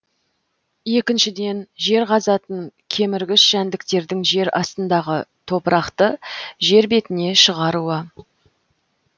екіншіден жер қазатын кеміргіш жәндіктердің жер астындағы топырақты жер бетіне шығаруы